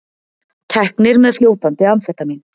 Teknir með fljótandi amfetamín